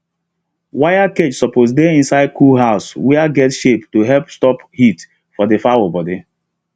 wire cage suppose dey inside cool house were get shade to help stop heat for the fowl body